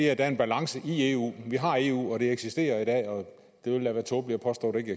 er en balance i eu vi har eu og det eksisterer i dag og det ville da være tåbeligt at påstå at det